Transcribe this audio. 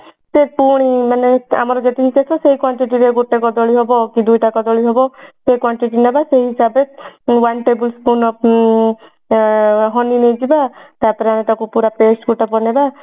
ସେ ପୁଣି ଆମର ଯେତିକି କେଶ ସେଇ quantity ରେ ଗୋଟେ କଦଳୀ ହବ କି ଦୁଇଟା କଦଳୀ ହେବ ସେଇ quantity ନେବା ସେଇ ହିସାବରେ one table spoon of honey ନେଇଯିବା ତାପରେ ଆମେ ତାକୁ ପୁରା paste ଗୋଟେ ବନେଇଦେବା